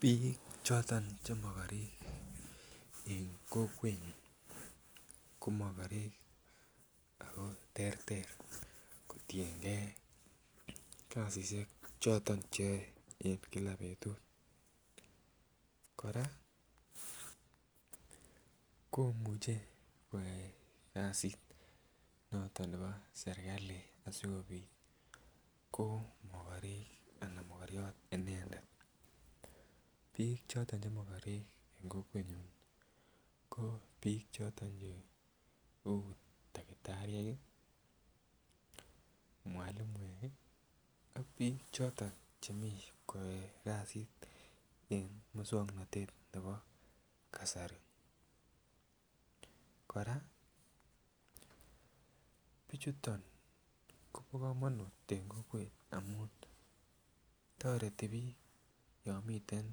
Bik choton che mokorek en kokwet ko mokorek ako terter kotiyengee kasishek choton cheyoe en kila betut Koraa komuche koyai kasit noton nebo sirkali asikopit ko mokorek anan mokoriot inendet. Bik choton che mokorek en kokwenyun ko bik choton cheu takitariek kii mwalimuek kii an bik choton chemii koyoe kasit e muswoknotet nebo kasari. Koraa bichuton Kobo komonut en kokwet amun toreti bik yon miten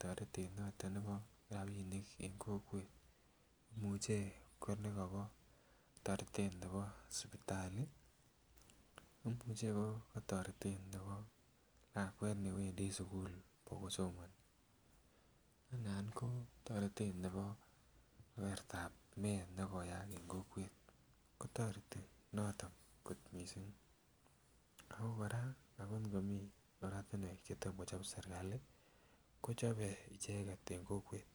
toretet noton nebo rabinik en kokwet muche ko nekobo toretet nebo sipitali, imuche ko kotoretet nebo lakwet newendii sukul bokosomoni anan ko toretet nebo igortab meet nekoyaak en kokwet, kotoreti noton kot missing. Ako koraa anan komiii oretunwek chetom kochob sirkali kochobe icheket en kokwet.